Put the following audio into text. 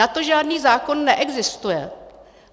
Na to žádný zákon neexistuje.